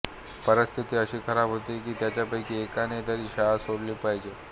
परिस्थिती अशी खराब होते की त्याच्यापैकी एकाने तरी शाळा सोडली पाहिजे